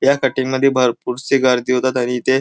या कटिंग मध्ये भरपूर से गर्दी होतात आणि इथे--